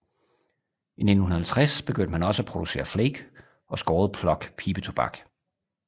I 1950 begyndte man også at producere flake og skåret plug pibetobak